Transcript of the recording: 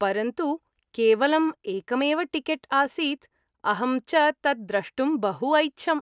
परन्तु केवलम् एकमेव टिकेट् आसीत्, अहं च तत् द्रष्टुं बहु ऐच्छम्।